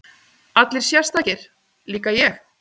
Allir sérstakir, líka ég?